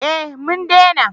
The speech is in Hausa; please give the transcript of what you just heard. Eh mun dena